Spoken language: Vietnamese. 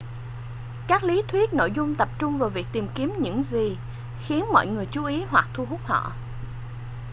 các lý thuyết nội dung tập trung vào việc tìm kiếm những gì khiến mọi người chú ý hoặc thu hút họ